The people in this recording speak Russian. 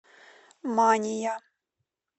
мания